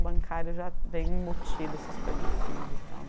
O bancário já vem embutido, essas coisas de filho e tal.